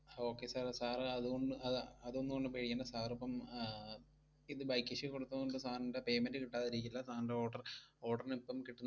Okay sir, sir അതുകൊണ്ട്, അത~ അത് ഒന്നുകൊണ്ടും പേടിക്കണ്ട sir ഇപ്പം ആഹ് ഇത് bike issue കൊടുത്തോണ്ട് sir ന്റെ payment കിട്ടാതിരിക്കില്ല. sir ന്റെ order order ന് ഇപ്പം കിട്ടു~